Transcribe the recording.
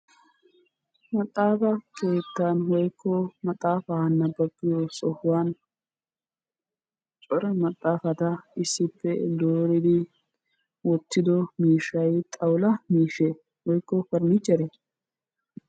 Maxaafaa keettan woyikko maxaafaa nababiyoo sohuwan cora maxaafata issippe dooridi wottido miishshay xawula miishshee woyikko parnicheree?